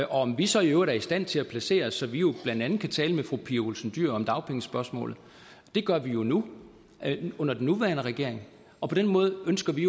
om vi så i øvrigt er i stand til at placere os så vi blandt andet kan tale med fru pia olsen dyhr om dagpengespørgsmålet det gør vi jo nu under den nuværende regering og på den måde ønsker vi